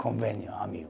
Convênio, amigo.